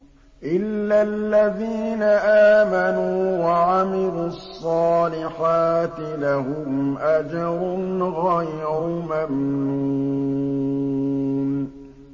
إِلَّا الَّذِينَ آمَنُوا وَعَمِلُوا الصَّالِحَاتِ لَهُمْ أَجْرٌ غَيْرُ مَمْنُونٍ